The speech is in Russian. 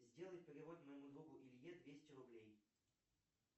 сделай перевод моему другу илье двести рублей